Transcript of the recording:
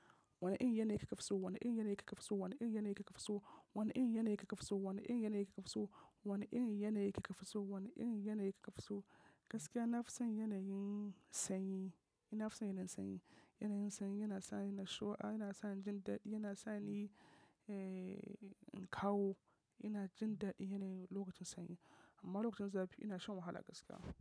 Wane irin yanayi kika fi so? Wane irin yanayi kika fi so? Wane irin yanayi kaka fi so? Wane irin yanayi kika fi so? Wane irin yanayi kika fi so? Wane irin yanayi kika fi so? Wane irin yanayi kika fi so? Gaskiya na fi son yanayi sanyi. Na fi son yanayin sanyi. Yanayin sanyi yana sa ni nashiwa, yana sa ni jin daɗi, yana sa ni, eh, ƙaho. Ina jin daɗi yanayi lokacin sanyi. Amma lokacin zafi ina shan wahala gaskiya.